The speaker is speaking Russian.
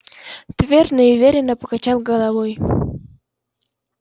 твер неуверенно покачал головой